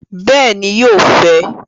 Bẹẹni, yóò fẹ